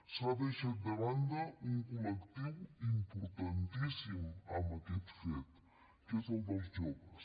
s’ha deixat de banda un col·lectiu importantíssim en aquest fet que és el dels joves